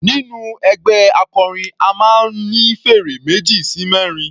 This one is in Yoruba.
Nínú ẹgbẹ́ akọrin a máa ń ní fèrè meji sí mẹrin.